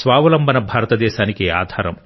స్వావలంబన భారతదేశానికి ఆధారం